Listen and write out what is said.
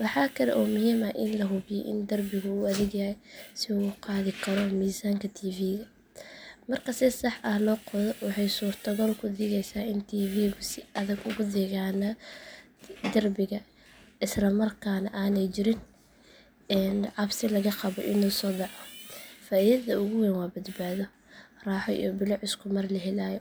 Waxa kale oo muhiim ah in la hubiyo in derbigu uu adagyahay si uu u qaadi karo miisaanka tv-ga. Marka si sax ah loo qodo waxay suurtogal ka dhigeysaa in tv-gu si adag ugu dhegganaado derbiga isla markaana aanay jirin cabsi laga qabo inuu soo dhaco. Faa’iidada ugu weyn waa badbaado, raaxo, iyo bilic isku mar la helayo.